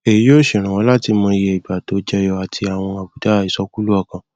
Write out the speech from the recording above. èyí yóò ṣèrànwọ láti mọ iye ìgbà tó jẹyọ àti àwọn àbùdá ìsọkúlú ọkàn